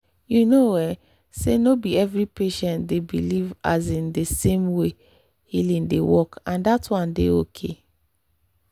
you know um say no be every patient dey believe um the same way healing dey work—and that one dey okay.